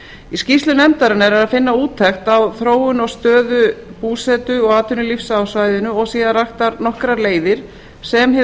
í skýrslu nefndarinnar er að finna úttekt á þróun og stöðu búsetu og atvinnulífs á svæðinu og síðan raktar nokkrar leiðir sem hið